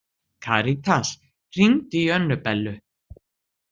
Karítas, hringdu í Önnubellu.